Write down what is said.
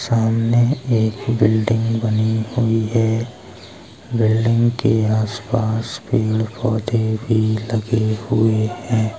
सामने एक बिल्डिंग बनी हुई है बिल्डिंग के आस पास पेड़ पौधे भी लगे हुए हैं।